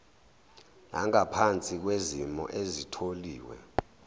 nangaphansi kwezimo ezitholiwe